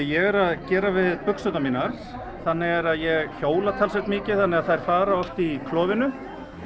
ég er að gera við buxurnar mínar þannig er að ég hjóla talsvert mikið þannig að þær fara oft í klofinu